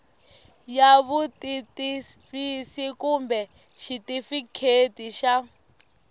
ya vutitivisi kumbe xitifiketi xa